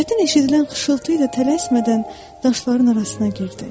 Çətin eşidilən xışıltı ilə tələsmədən daşların arasına girdi.